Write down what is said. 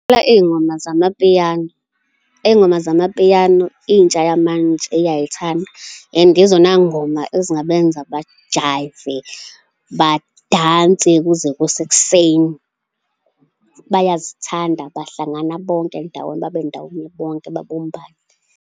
Ngingabadlalela iy'ngoma zamapiyano, iy'ngoma zamapiyano, intsha yamanje iyay'thandwa and izona ngoma ezingabenza bajayive, badanse kuze kuse ekseni. Bayazithanda, bahlangana bonke ndawonye, babe ndawonye bonke babumbane.